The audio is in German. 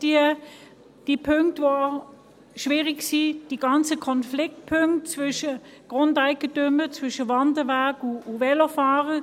Und man hat diese ganzen Konfliktpunkte mit den Grundeigentümern und zwischen Wanderweg und Velofahrern.